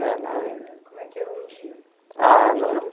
É na ver Como é que era um dia? Ah não era